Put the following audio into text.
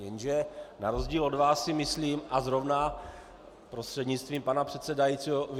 Jenže na rozdíl od vás si myslím, a zrovna, prostřednictvím pana předsedajícího, vy...